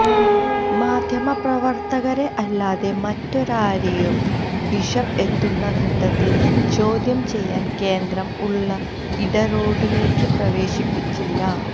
മാധ്യമപ്രവർത്തകരെ അല്ലാതെ മറ്റാരെയും ബിഷപ്പ് എത്തുന്ന ഘട്ടത്തിൽ ചോദ്യംചെയ്യൽ കേന്ദ്രം ഉള്ള ഇട റോഡിലേക്ക് പ്രവേശിപ്പിച്ചില്ല